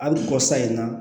Hali kɔsa in na